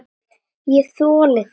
ÉG ÞOLI ÞIG EKKI!